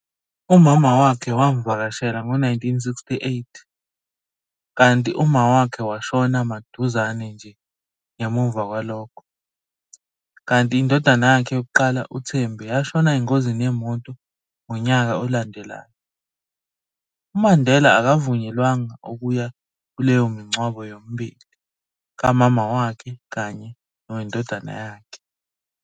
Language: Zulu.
Umama wakhe wamvakashela ngo-1968, kanti umama wakhe washona maduzane nje ngemuva kwalokho, kanti indodana yakhe yokuqala uThembi yashona engozini yemoto ngonyaka olandelayo, uMandela akavunyelwanga ukuya kuleyo mingcwabo yomibili kamama wakhe kanye nowendondana yakhe.